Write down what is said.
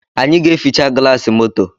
Anyị ga-eficha gịlasị moto